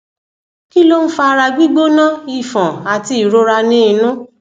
kí ló ń fa ara gbigbona ifon àti ìrora ni inú